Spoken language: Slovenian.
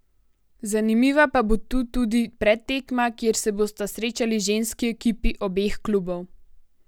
Zanimiva pa bo tu tudi predtekma, kjer se bosta srečali ženski ekipi obeh klubov.